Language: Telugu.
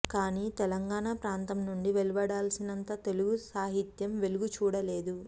కాని తెలంగాణ ప్రాంతం నుండి వెలువడాల్సినంత తెలుగు సాహిత్యం వెలుగు చూడలేదు